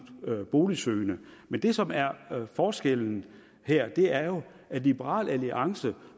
boligsøgende men det som er forskellen her er jo at liberal alliance